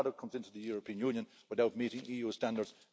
No product comes into the European Union without meeting EU standards.